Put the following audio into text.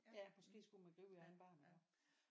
Ja måske skulle man gribe i egen barm iggå